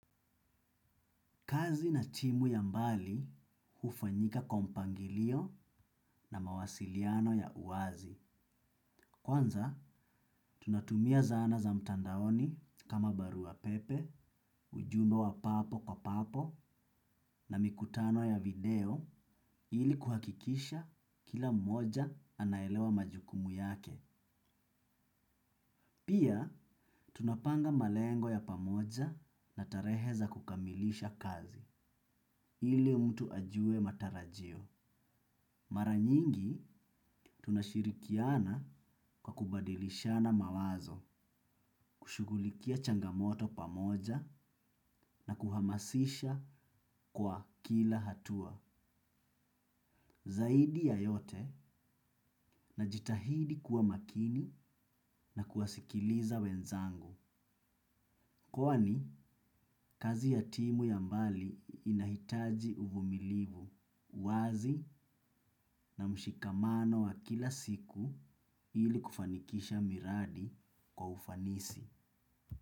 Kazi na timu ya mbali hufanyika kwa mpangilio na mawasiliano ya uwazi. Kwanza, tunatumia zana za mtandaoni kama barua pepe, ujumbe wa papo kwa papo na mikutano ya video ili kuhakikisha kila moja anaelewa majukumu yake. Pia, tunapanga malengo ya pamoja na tarehe za kukamilisha kazi ili mtu ajue matarajio. Mara nyingi tunashirikiana kwa kubadilishana mawazo, kushughulikia changamoto pamoja na kuhamasisha kwa kila hatua, zaidi ya yote najitahidi kuwa makini na kuwasikiliza wenzangu. Kwani kazi ya timu ya mbali inahitaji uvumilivu, uwazi na mshikamano wa kila siku ili kufanikisha miradi kwa ufanisi.